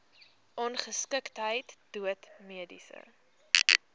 ongeskiktheid dood mediese